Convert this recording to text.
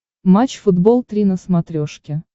матч футбол три на смотрешке